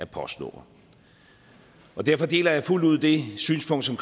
postnummer derfor deler jeg fuldt ud det synspunkt som